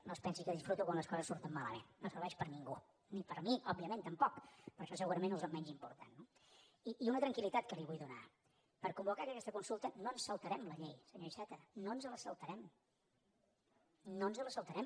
no es pensi que disfruto quan les coses surten malament no serveix per a ningú ni per a mi òbviament tampoc però això segurament és el menys important no i una tranquil·litat que li vull donar per convocar aquesta consulta no ens saltarem la llei senyor iceta no ens la saltarem no ens la saltarem